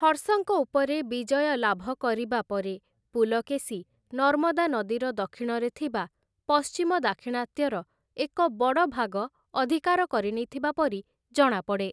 ହର୍ଷଙ୍କ ଉପରେ ବିଜୟ ଲାଭ କରିବା ପରେ, ପୁଲକେଶୀ ନର୍ମଦା ନଦୀର ଦକ୍ଷିଣରେ ଥିବା ପଶ୍ଚିମ ଦାକ୍ଷିଣାତ୍ୟର ଏକ ବଡ଼ ଭାଗ ଅଧିକାର କରିନେଇଥିବା ପରି ଜଣାପଡ଼େ ।